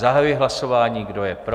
Zahajuji hlasování, kdo je pro?